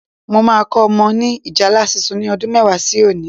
Mo máa kọ́ ọmọ ni ìjálá sísun ni ọdún mẹ́wàá sí òní